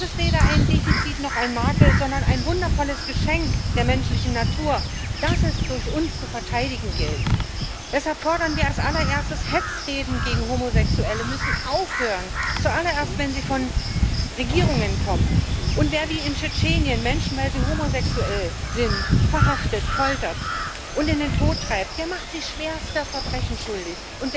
Das ist weder ein Defizit noch ein Makel, sondern ein wundervolles Geschenk der menschlichen Natur, das es durch uns zu verteidigen gilt. Deshalb fordern wir als allererstes Hetzreden gegen Homosexuelle müssen aufhören zuallererst, wenn sie von Regierungen kommen. Und wer wie in Tschetschenien Menschen, weil sie homosexuell sind, verhaftet, foltert und in den Tod treibt, der macht sich schwerster Verbrechen schuldig.